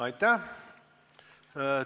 Aitäh!